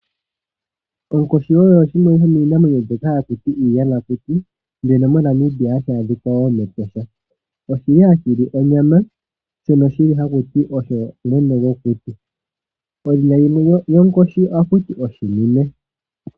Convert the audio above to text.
Onkoshi oyo shimwe shomiinamwenyo mbyoka hatu ti iiyamakuti, shono moNamibia hashi adhika mEtosha. Ohashi li onyama shono haku ti osho mwene gwokuti. Edhina limwe lyonkoshi ohaku ti oshinime.